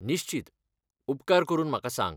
निश्चित, उपकार करून म्हाका सांग.